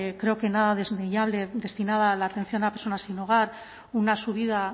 creo que nada desdeñable destinada a la atención a personas sin hogar una subida